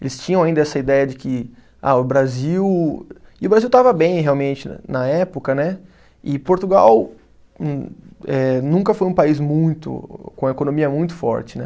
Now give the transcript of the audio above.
Eles tinham ainda essa ideia de que ah o Brasil, e o Brasil estava bem realmente na época né, e Portugal não eh, nunca foi um país muito, com a economia muito forte né.